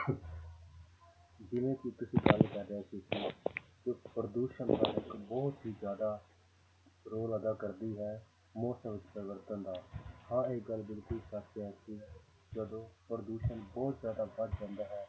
ਜਿਵੇਂ ਕਿ ਤੁਸੀਂ ਗੱਲ ਕਰ ਰਹੇ ਸੀ ਕਿ ਜੋ ਪ੍ਰਦੂਸ਼ਣ ਦਾ ਇੱਕ ਬਹੁਤ ਹੀ ਜ਼ਿਆਦਾ role ਅਦਾ ਕਰਦੀ ਹੈ ਮੌਸਮ ਵਿੱਚ ਪਰਿਵਰਤਨ ਦਾ ਹਾਂ ਇਹ ਗੱਲ ਬਿਲਕੁਲ ਸੱਚ ਹੈ ਕਿ ਜਦੋਂ ਪ੍ਰਦੂਸ਼ਣ ਬਹੁਤ ਜ਼ਿਆਦਾ ਵੱਧ ਜਾਂਦਾ ਹੈ